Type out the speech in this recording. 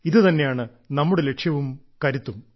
ഇതുതന്നെയാണ് നമ്മുടെ ലക്ഷ്യവും കരുത്തും